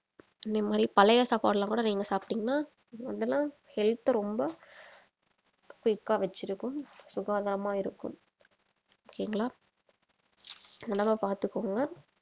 அந்த மாதிரி பழைய சாப்பாடெல்லாம் கூட நீங்க சாப்டீங்கனா health ரொம்ப quick ஆ வெச்சிருக்கும் சுகாதாரமா இருக்கும் okay ங்களா உடம்ப பாத்துக்கோங்க